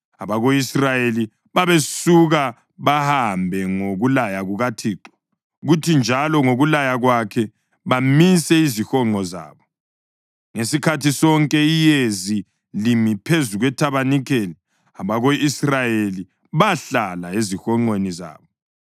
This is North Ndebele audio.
Abako-Israyeli babesuka bahambe ngokulaya kukaThixo, kuthi njalo ngokulaya kwakhe bamise izihonqo zabo. Ngesikhathi sonke iyezi limi phezu kwethabanikeli, abako-Israyeli bahlala ezihonqweni zabo.